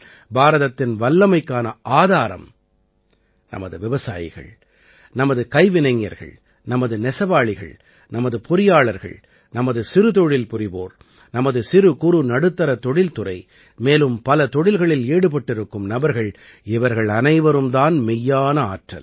பாரதத்தின் வல்லமைக்கான ஆதாரம் நமது விவசாயிகள் நமது கைவினைஞர்கள் நமது நெசவாளிகள் நமது பொறியாளர்கள் நமது சிறுதொழில் புரிவோர் நமது சிறு குறு நடுத்தரத் தொழில்துறை மேலும் பல தொழில்களில் ஈடுபட்டிருக்கும் நபர்கள் இவர்கள் அனைவரும் தான் மெய்யான ஆற்றல்